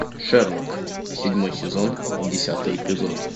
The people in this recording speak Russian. шерлок седьмой сезон десятый эпизод